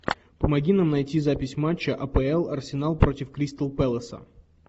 помоги нам найти запись матча апл арсенал против кристал пэласа